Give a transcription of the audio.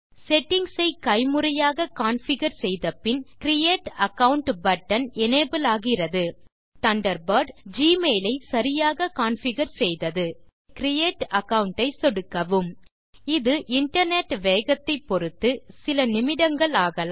settings ஐ கைமுறையாக configure செய்தபின் கிரியேட் அகாவுண்ட் பட்டன் எனபிள் ஆகிறது இந்த tutorialலில் தண்டர்பர்ட் ஜிமெயில் ஐ சரியாக கான்ஃபிகர் செய்தது ஆகவே கிரியேட் அகாவுண்ட் ஐ சொடுக்கவும் இது இன்டர்நெட் வேகத்தை பொருத்து சில நிமிடங்கள் ஆகலாம்